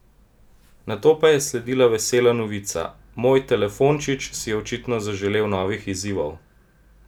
Nato pa je sledila vesela novica: 'Moj 'telefončič' si je očitno zaželel novih izzivov.